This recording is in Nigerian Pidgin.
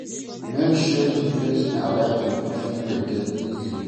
Make sure sey di place na where pipo fit locate easily